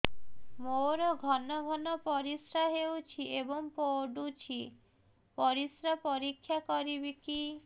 ମୋର ଘନ ଘନ ପରିସ୍ରା ହେଉଛି ଏବଂ ପଡ଼ୁଛି ପରିସ୍ରା ପରୀକ୍ଷା କରିବିକି